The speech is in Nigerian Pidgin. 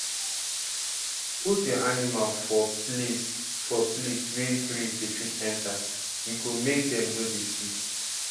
put your animal for place for place wey breeze dey fit enter e go make dem no dey sick